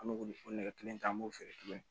An bɛ o nɛgɛ kelen kelen ta an b'o feere tuguni